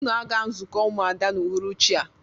Unu aga nzukọ umuada n'uhuruchi a!